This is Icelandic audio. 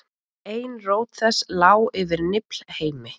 ein rót þess lá yfir niflheimi